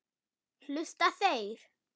Hlusta þeir?